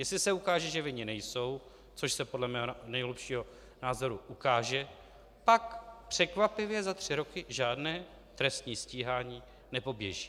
Jestli se ukáže, že vinni nejsou, což se podle mého nejhlubšího názoru ukáže, pak překvapivě za tři roky žádné trestní stíhání nepoběží.